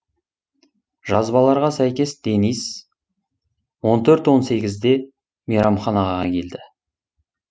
жазбаларға сәйкес денис он төрт он сегізде мейрамханаға келді